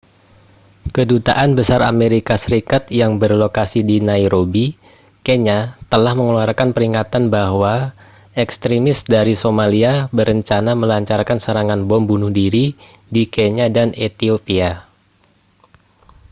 kedutaan besar amerika serikat yang berlokasi di nairobi kenya telah mengeluarkan peringatan bahwa ekstremis dari somalia berencana melancarkan serangan bom bunuh diri di kenya dan etiopia